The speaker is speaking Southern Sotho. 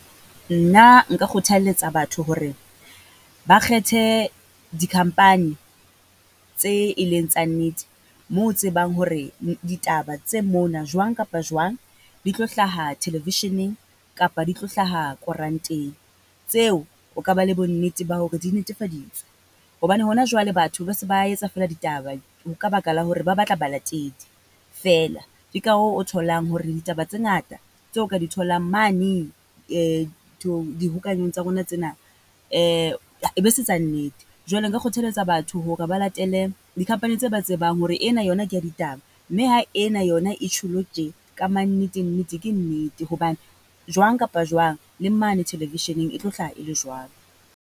Nna nka kgothaletsa batho hore ba kgethe di-company tse e leng tsa nnete, mo o tsebang hore ditaba tse mona jwang kapa jwang di tlo hlaha television-eng kapa di tlo hlaha koranteng. Tseo, o ka ba le bonnete ba hore di netefaditswe. Hobane hona jwale batho ba se ba etsa feela ditaba ho ka baka la hore ba batla balatedi feela, ke ka hoo o tholang hore ditaba tse ngata tseo o ka di tholang mane nthong, dihokaneng tsa rona tsena , e be se tsa nnete. Jwale nka kgothaletsa batho hore ba latele di-company tse ba tsebang hore ena yona ke ya ditaba, mme ha ena yona e tjholo tje, ka mma nnete nnete ke nnete. Hobane jwang kapa jwang, le mane television-eng e tlo hlaha e le jwalo.